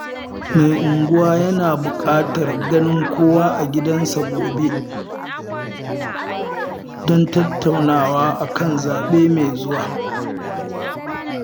Mai unguwa yana buƙatar ganin kowa a gidansa gobe, don tattaunawa a kan zaɓe mai zuwa